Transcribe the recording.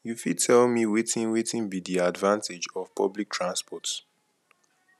you fit tell me wetin wetin be di advantage of public transport